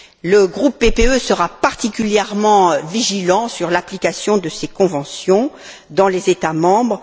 Le groupe PPE sera particulièrement vigilant sur l'application de ces conventions dans les États membres.